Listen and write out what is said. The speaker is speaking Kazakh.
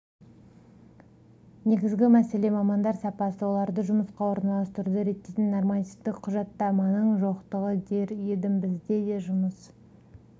негізгі мәселе мамандар сапасы оларды жұмысқа орналастыруды реттейтін нормативтік құжаттаманың жоқтығы дер едім біз де жұмыс